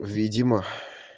видимо